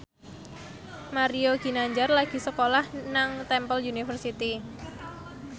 Mario Ginanjar lagi sekolah nang Temple University